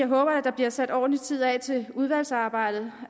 håber at der bliver sat ordentlig tid af til udvalgsarbejdet